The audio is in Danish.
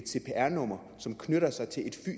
cpr nummer som knytter sig til et